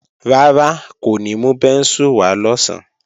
Rárá, kò ní mú bẹ́ńsù wá lọ̀sán